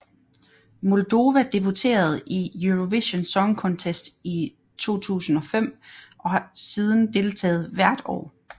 Moldova debuterede i Eurovision Song Contest i 2005 og siden deltaget hvert år